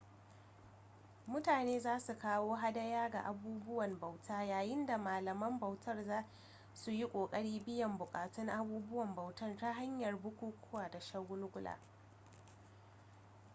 mutane za su kawo hadaya ga abubuwan bauta yayin da malaman bautar za su yi ƙoƙarin biyan buƙatun abubuwan bautar ta hanyar bukukuwa da shagulgula